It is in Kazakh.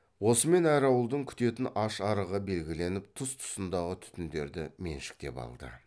осымен әр ауылдың күтетін аш арығы белгіленіп тұс тұсындағы түтіндерді меншіктеп алды